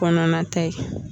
Kɔnɔnata ye